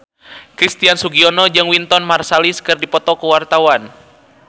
Christian Sugiono jeung Wynton Marsalis keur dipoto ku wartawan